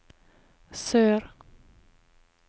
sør